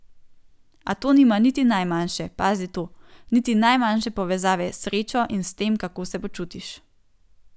A to nima niti najmanjše, pazi to, niti najmanjše povezave s srečo in s tem, kako se počutiš.